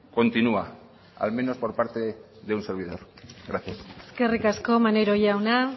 continua al menos por parte de un servidor gracias eskerrik asko maneiro jauna